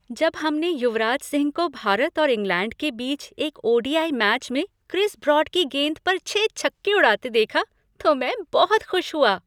जब हमने युवराज सिंह को भारत और इंग्लैंड के बीच एक ओ.डी.आई. मैच में क्रिस ब्रॉड की गेंद पर छह छक्के उड़ाते हुए देखा तो मैं बहुत खुश हुआ।